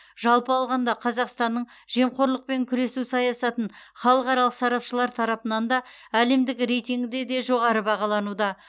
жалпы алғанда қазақстанның жемқорлықпен күресу саясатын халықаралық сарапшылар тарапынан да әлемдік рейтингте де жоғары бағалануда